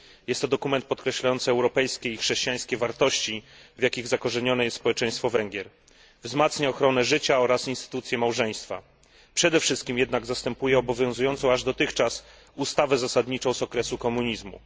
Jest to dokument podkreślający europejskie i chrześcijańskie wartości, w jakich zakorzenione jest społeczeństwo Węgier, wzmacnia ochronę życia oraz instytucję małżeństwa, przede wszystkim jednak zastępuje obowiązującą aż dotychczas ustawę zasadniczą z okresu komunizmu.